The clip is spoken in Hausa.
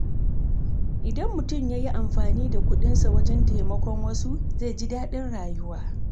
Idan mutum ya yi amfani da kuɗinsa wajen taimakon wasu, zai ji daɗin rayuwa.